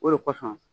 O de kosɔn